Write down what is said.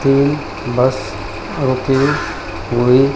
तीन बस रुकी हुई।